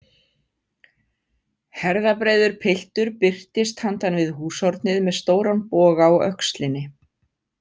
Herðabreiður piltur birtist handan við húshornið með stóran boga á öxlinni.